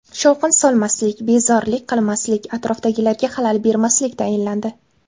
Shovqin solmaslik, bezorilik qilmaslik, atrofdagilarga xalal bermaslik tayinlandi.